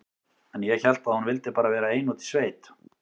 En ég hélt að hún vildi bara vera ein úti í sveit.